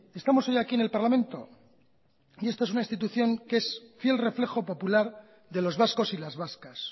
estamos hoy aquí en el parlamento y esto es una institución que es fiel reflejo popular de los vascos y las vascas